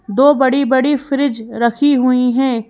दो बड़ी-बड़ी फ्रिज रखी हुई है।